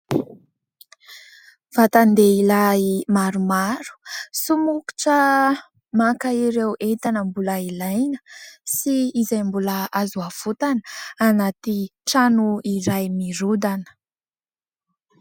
Vatan-dehilahy maromaro somokotra maka ireo entana mbola ilaina sy izay mbola azo avotana anaty trano iray nirodana.